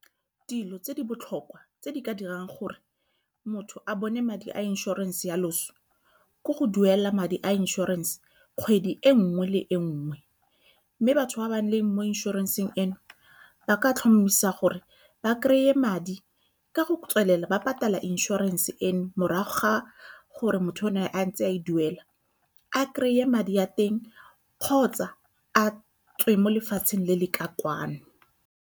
Dilo tse di botlhokwa tse di ka dirang gore motho a bone madi a insurance ya loso ke go duela madi a inšorense kgwedi e nngwe le nngwe, mme batho ba ba leng mo inšorenseng eno ba ka tlhomisa gore ba kry-e madi ka go tswelela ba patela inšorense eno morago ga gore motho o ne a ntse a e duela a kry-e madi a teng, kgotsa a tswe mo lefatsheng le le ka kwano.